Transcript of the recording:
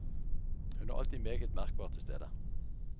Hun er alltid meget merkbart til stede.